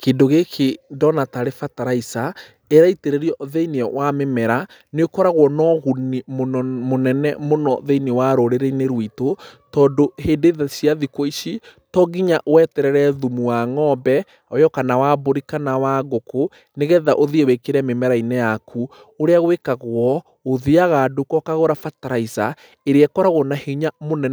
Kĩndũ gĩkĩ ndona tarĩ bataraitha ĩraitĩrĩrio thĩiniĩ wa mĩmera, nĩ ũkoragwo na ũguni mũnene mũno thĩiniĩ wa rũrĩrĩ-inĩ rwitũ. Tondũ hĩndũ ĩno cia thikũ ici to nginya weterere thumu wa ng'ombe o ĩyo kana wa mbũri kana wa ngũkũ, nĩgetha ũthiĩ wĩkĩre mĩmera-inĩ yaku. Ũrĩa gwĩkagwo ũthiaga nduka ũkagũra bataraitha ĩrĩa ĩkoragwo na hinya